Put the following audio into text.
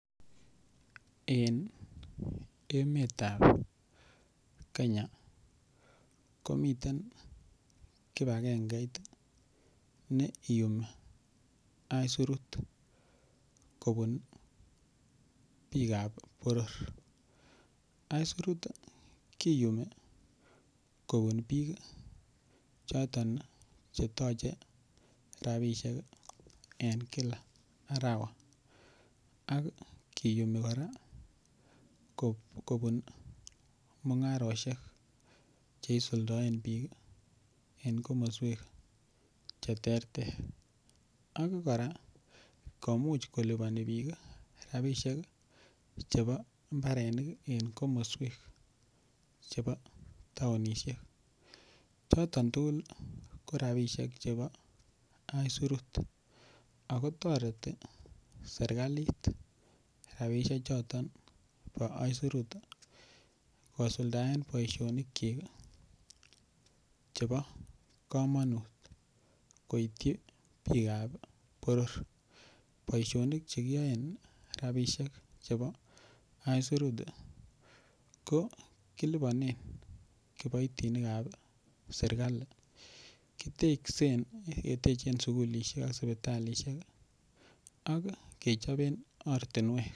En emetab Kenya komiten kipagengeit meiyumi isurut kobun bikab boror. Isurut kiyumi kobun bik choto cheyoche rabishek en Kila arawa ak kiyumi koraa kobun mungaroshek chekisuldoen bik en komoswek cheterter ak koraa komuche koliboni bik rabishek chebo imbarenik en komoswek chebo townishek, choton tukuk ko rabishek chebo isurut ako toreti sirkalit rabishek choton bo isurut kisuldaen boishonik chik chebo komonut koityi bikab boror. Boishonik chekiyoen rabishek chebo isurut ko kiliponen kiboitinikab sirkalit kiteksen ketechen sukulishek ak sipitalishek ak kechoben ortinwek.